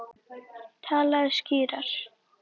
Talaðu skýrar.